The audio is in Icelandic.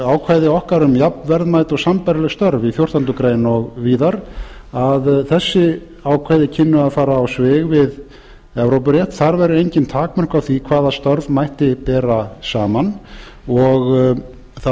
ákvæði okkar um jafnverðmæt og sambærileg störf í fjórtándu greinar og víðar að þessi ákvæði kynnu að fara á svig við evrópurétt þar væru engin takmörk á því hvaða störf mætti bera saman og það